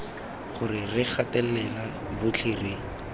gore re gatelela botlhe re